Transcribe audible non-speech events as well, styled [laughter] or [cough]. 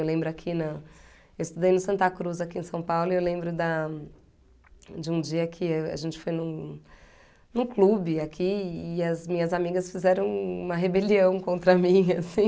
Eu lembro aqui na... Eu estudei no Santa Cruz aqui em São Paulo e eu lembro da de um dia que a gente foi num num clube aqui e as minhas amigas fizeram uma rebelião contra mim, assim. [laughs]